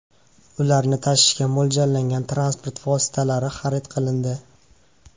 Ularni tashishga mo‘ljallangan transport vositalari xarid qilindi.